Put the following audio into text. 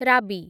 ରାବି